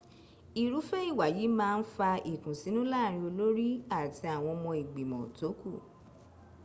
irúfẹ́ ìwà yìí máa ń fa ìkùnsínú láàrín olórí àti àwọn ọmọ ìgbìmọ̀ tó k